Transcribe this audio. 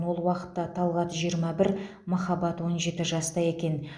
ол уақытта талғат жиырма бір махаббат он жеті жаста екен